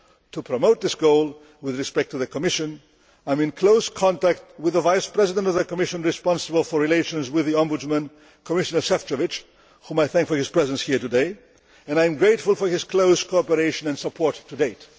To promote this goal with respect to the Commission, I am in close contact with the Vice President of the Commission responsible for relations with the Ombudsman, Commissioner Šefčovič, who I thank for his presence here today, and I am grateful for his close cooperation and support to date.